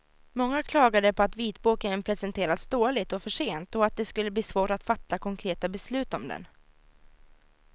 Många klagade på att vitboken presenterats dåligt och för sent och att det skulle bli svårt att fatta konkreta beslut om den.